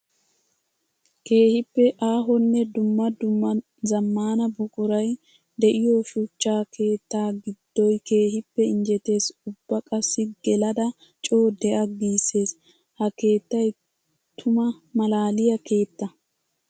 Keehippe aahonne dumma dumma zamaana buquray de'iyo shuchcha keetta gidoy keehippe injjetes ubba qassi gelada coo de'a gisees. Ha keettay tuma malaaliya keetta.